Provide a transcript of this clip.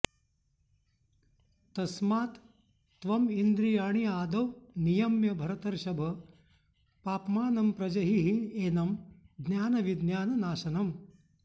तस्मात् त्वम् इन्द्रियाणि आदौ नियम्य भरतर्षभ पाप्मानं प्रजहि हि एनं ज्ञानविज्ञाननाशनम्